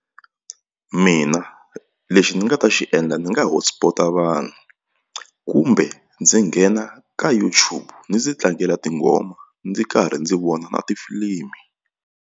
Mina lexi ni nga ta xi endla ndzi nga hotspot-a vanhu kumbe ndzi nghena ka YouTube ndzi tlangela tinghoma ndzi karhi ndzi vona na tifilimi.